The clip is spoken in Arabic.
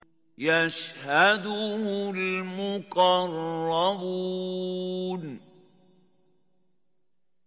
يَشْهَدُهُ الْمُقَرَّبُونَ